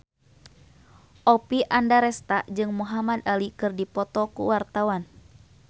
Oppie Andaresta jeung Muhamad Ali keur dipoto ku wartawan